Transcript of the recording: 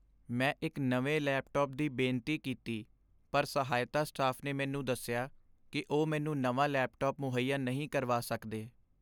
ਮੈਂ ਇੱਕ ਨਵੇਂ ਲੈਪਟਾਪ ਦੀ ਬੇਨਤੀ ਕੀਤੀ ਪਰ ਸਹਾਇਤਾ ਸਟਾਫ ਨੇ ਮੈਨੂੰ ਦੱਸਿਆ ਕਿ ਉਹ ਮੈਨੂੰ ਨਵਾਂ ਲੈਪਟਾਪ ਮੁਹੱਇਆ ਨਹੀਂ ਕਰਵਾ ਸਕਦੇ।